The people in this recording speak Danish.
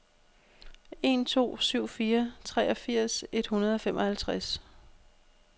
en to syv fire treogfirs et hundrede og femoghalvtreds